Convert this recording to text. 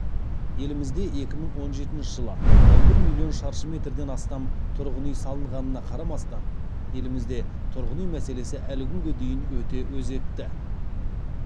елімізде екі мың он жетінші жылы он бір миллион шаршы метрден астам тұрғын үй салынғанына қарамастан елімізде тұрғын үй мәселесі әлі күнге дейін өте өзекті